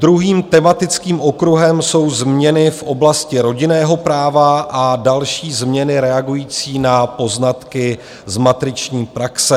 Druhým tématickým okruhem jsou změny v oblasti rodinného práva a další změny reagující na poznatky z matriční praxe.